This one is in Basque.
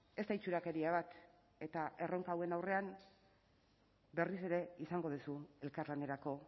ez da itxurakeria bat eta erronka hauen aurrean berriz ere izango duzu elkarlanerako